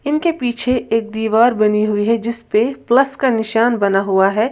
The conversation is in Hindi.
इनके पीछे एक दीवार बनी हुई है जिस पे प्लस का निशान बना हुआ है।